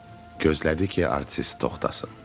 Gözlədi ki, artist toxhtasın.